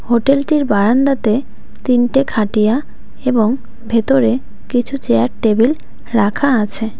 হোটেলটির বারান্দাতে তিনটে খাটিয়া এবং ভেতরে কিছু চেয়ার টেবিল রাখা আছে।